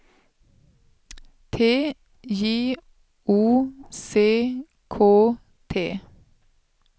T J O C K T